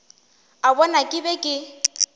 a bona ke be ke